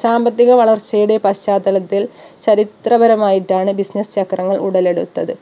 സാമ്പത്തിക വളർച്ചയുടെ പശ്ചാത്തലത്തിൽ ചരിത്രപരമായിട്ടാണ് business ചക്രങ്ങൾ ഉടലെടുത്തത്